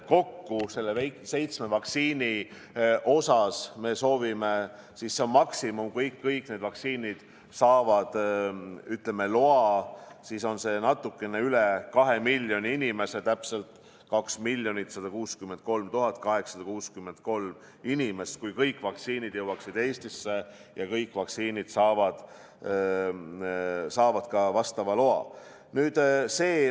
Kokku seitsme vaktsiini osas, mida me soovime – see on maksimum, kui kõik need vaktsiinid saavad loa –, on see natuke üle 2 miljoni inimese, täpselt 2 163 863 inimest, kui kõik vaktsiinid jõuaksid Eestisse ja kui kõik vaktsiinid saavad ka vastava loa.